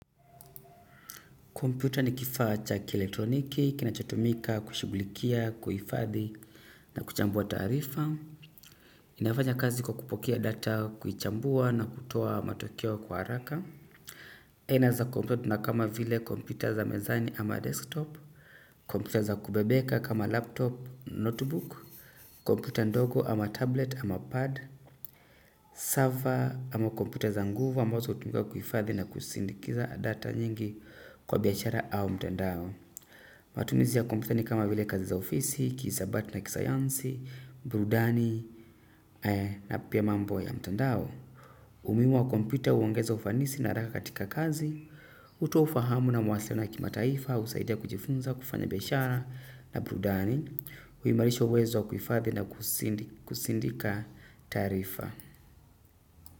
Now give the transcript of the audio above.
Kompyuta ni kifaa cha kielektroniki, kinachotumika, kushughulikia, kuhifadhi na kuchambua taarifa. Inafanya kazi kwa kupokea data, kuichambua na kutoa matokeo kwa haraka. Inaeza kompyut na kama vile kompyuta za mezani ama 'desktop'. Kompyuta za kubebeka kama laptop, notebook. Komputa ndogo ama tablet ama pad. Server ama kompyuta za nguvu ambazo hutumika kuifadhi na kusindikiza data nyingi kwa biashara au mtandao matumizi ya kompyuta ni kama vile kazi za ofisi, kihisabati na kisayansi, burudani na pia mambo ya mtandao umuhimu wa kompyuta huongeza ufanisi na raha katika kazi. Hutoa ufahamu na mawasiliano ya kimataifa, husaidia kufanya biashara na burudani huimarisha uwezo wa kuifadhi na kusindika taarifa.